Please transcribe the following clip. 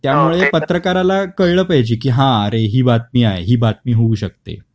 त्या मुळे पत्रकाराला कळल पाहिजे की हा अरे ही बातमी आहे, ही बातमी होऊ शकते